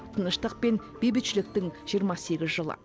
тыныштық пен бейбітшіліктің жиырма сегіз жылы